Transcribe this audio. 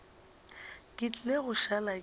ke tlile go šala ke